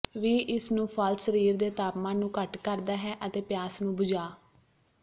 ਵੀ ਇਸ ਨੂੰ ਫਲ ਸਰੀਰ ਦੇ ਤਾਪਮਾਨ ਨੂੰ ਘੱਟ ਕਰਦਾ ਹੈ ਅਤੇ ਪਿਆਸ ਨੂੰ ਬੁਝਾ